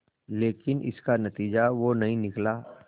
लेकिन इसका नतीजा वो नहीं निकला